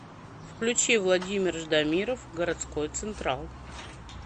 включи владимир ждамиров городской централ